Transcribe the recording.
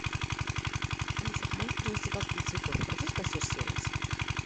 алиса помоги принести вазу для цветов обратись в консьерж сервис